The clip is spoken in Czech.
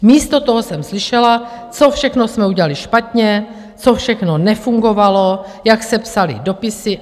Místo toho jsem slyšela, co všechno jsme udělali špatně, co všechno nefungovalo, jak se psaly dopisy.